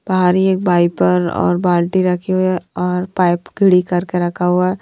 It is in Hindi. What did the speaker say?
बाहर ही एक वाइपर और बाल्टी रखी हुई है और पाइप घड़ी करके रखा हुआ है।